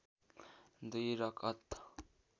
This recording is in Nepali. दुई रकअत